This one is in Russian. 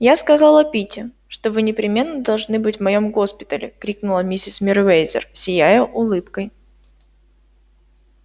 я сказала питти что вы непременно должны быть в моём госпитале крикнула миссис мерриуэзер сияя улыбкой